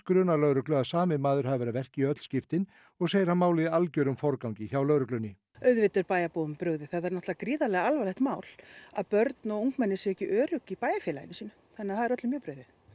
grunar lögreglu að sami maður hafi verið að verki í öll skiptin og segir hann málið í algjörum forgangi hjá lögreglunni auðvitað er bæjarbúum brugðið það er náttúrulega gríðarlega alvarlegt mál að börn og ungmenni séu ekki örugg í bæjarfélaginu sínu þannig að það er öllum mjög brugðið